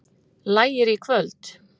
Lægir í kvöld